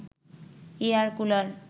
air cooler